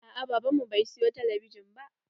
Aa baban mu bai siyo talabijin ba.